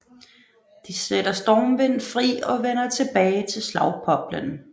De sætter Stormvind fri og vender tilbage til Slagpoplen